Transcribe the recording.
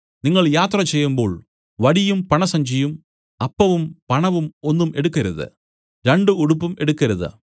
നിങ്ങൾ യാത്ര ചെയ്യുമ്പോൾ വടിയും പണസഞ്ചിയും അപ്പവും പണവും ഒന്നും എടുക്കരുത് രണ്ടു ഉടുപ്പും എടുക്കരുത്